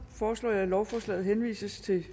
foreslår at lovforslaget henvises til